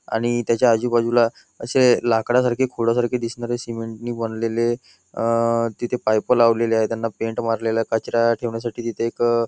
आणि त्याच्या आजूबाजूला असे लाकडासारखे खोडा सारखे दिसणारे सिमेंट नी बनलेले अं तिथे पाईप लावलेले आहे त्यांना पेंट मारलेला आहे कचरा ठेवण्यासाठी तिथे एक --